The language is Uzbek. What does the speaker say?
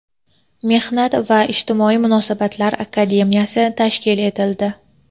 Mehnat va ijtimoiy munosabatlar akademiyasi tashkil etildi.